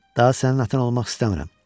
Daha sənin atan olmaq istəmirəm.